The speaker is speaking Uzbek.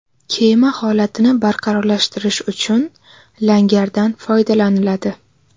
Kema holatini barqarorlashtirish uchun langardan foydalaniladi.